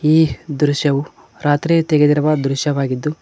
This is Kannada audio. ಈ ದೃಶ್ಯವು ರಾತ್ರಿ ತೆಗೆದಿರುವ ದೃಶ್ಯವಾಗಿದ್ದು--